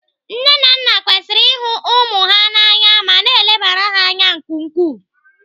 Nne na nna kwesịrị ihu ụmụ ha na anya ma na-elebara ha anya nke ukwuu.